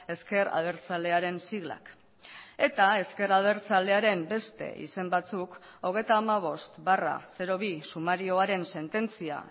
ezker abertzalearen siglak eta ezker abertzalearen beste izen batzuk hogeita hamabost barra bi sumarioaren sententzia